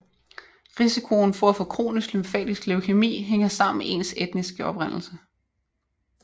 Risikoen for at få kronisk lymfatisk leukæmi hænger sammen med ens etniske oprindelse